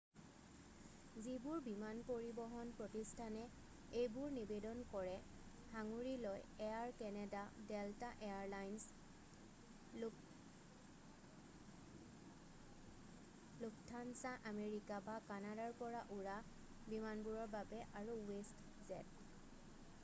যিবোৰ বিমান পৰিবহন প্ৰতিষ্ঠানে এইবোৰ নিবেদন কৰে সাঙুৰি লয় air canada delta air lines lufthansa America বা কানাডাৰ পৰা উৰা বিমানবোৰৰ বাবে আৰু westjet